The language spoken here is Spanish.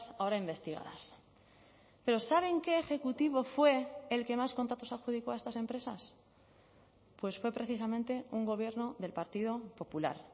ahora investigadas pero saben qué ejecutivo fue el que más contratos adjudicó a estas empresas pues fue precisamente un gobierno del partido popular